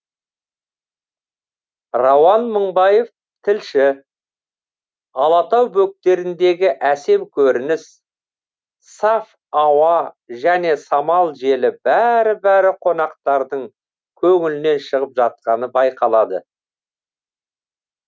рауан мыңбаев тілші алатау бөктеріндегі әсем көрініс саф ауа және самал жел бәрі бәрі қонақтардың көңілінен шығып жатқаны байқалады